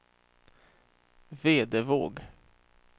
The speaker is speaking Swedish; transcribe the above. Vedevåg